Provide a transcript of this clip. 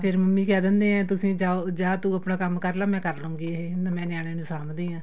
mummy ਕਹਿ ਦੈਂਦੇ ਏ ਤੁਸੀਂ ਜਾਉ ਜਾ ਤੂੰ ਆਪਣਾ ਕੰਮ ਕਰਲੇ ਮੈਂ ਕਰ ਲੂੰਗੀ ਇਹ ਮੈਂ ਨਿਆਣੇਆ ਨੂੰ ਸਾਂਭਦੀ ਆ